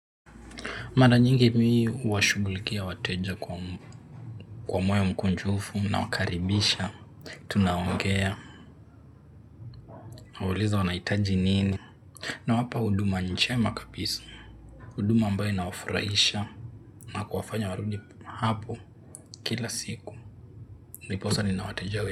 Mara nyingi mii huwashugulikia wateja kwa moyo mkunjufu na wakaribisha, tunaongea, kuwauliza wanahitaji nini, na wapa huduma njema kabisa, huduma ambayk inawafurahisha, na kuwafanya warudi hapo kila siku, ndiposa ninawateja we.